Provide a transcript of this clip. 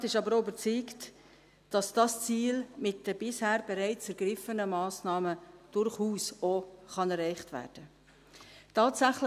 Der Regierungsrat ist aber auch überzeugt, dass dieses Ziel mit den bisher bereits ergriffenen Massnahmen durchaus auch erreicht werden kann.